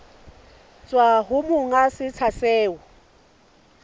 tswa ho monga setsha seo